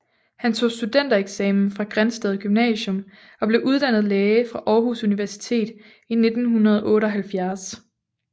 Han tog studentereksamen fra Grindsted Gymnasium og blev uddannet læge fra Aarhus Universitet i 1978